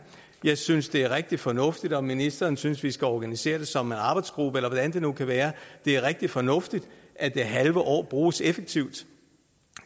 jeg synes det er rigtig fornuftigt at ministeren synes at vi skal organisere det som en arbejdsgruppe eller hvad det nu kan være det er rigtig fornuftigt at det halve år bruges effektivt